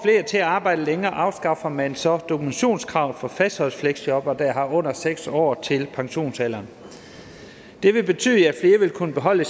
til at arbejde længere afskaffer man så dokumentationskravet for fastholdelsesfleksjobbere der har under seks år til pensionsalderen det vil betyde at flere vil kunne beholde